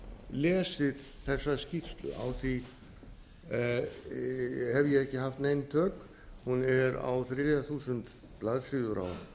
lesið þessa skýrslu á því hef ég ekki haft nein tök hún er á þriðja þúsund blaðsíður á